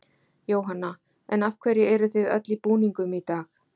Jóhanna: En af hverju eruð þið öll í búningum í dag?